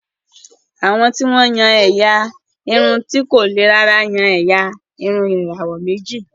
Àwọn tí wọ́n yan ẹ̀yà irun ti kò le rárá yan ẹ̀yà irun ìràwọ̀ méjì